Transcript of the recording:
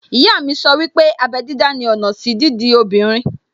Ìyá mi sọ wípé abẹ́ dídá ni ọ̀nà sí dídi obìnrin